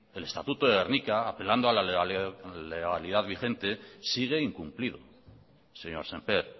apelando a la legalidad vigente sigue incumplido señor sémper